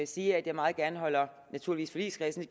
sige at jeg meget gerne holder naturligvis forligskredsen